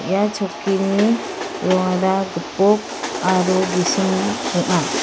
ia chokkini rongara gipok aro gisim ong·a.